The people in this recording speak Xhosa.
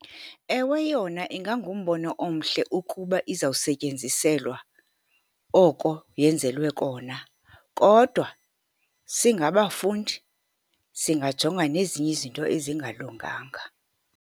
Ewe, yona ingangumbono omhle ukuba izawusetyenziselwa oko yenzelwe kona, kodwa singabafundi singajonga nezinye izinto ezingalunganga.